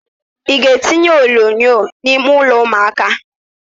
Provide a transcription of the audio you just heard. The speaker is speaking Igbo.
Ị ga-etinye onyonyo n'ime ụlọ ụmụaka?